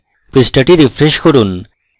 পৃষ্ঠাটি refresh করি